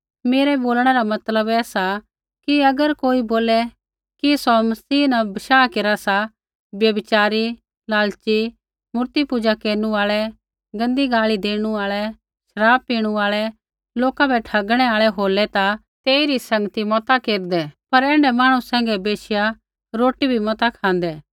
मेरा बोलणै रा मतलब सा कि अगर कोई बोले कि सौ मसीह न बशाह केरा सा व्यभिचारी लालची मूर्तिपूजा केरनु आल़ै गाल़ी देनु आल़ै शराब पिनु आल़ै लोका बै ठगणु आल़ै होलै ता तेइरी संगती मता केरदै पर ऐण्ढै मांहणु सैंघै बैशिया रोटी भी मता खाँदै